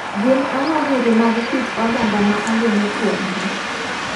Gin ang'o giri mag kit oganda ma ageno kuom gi?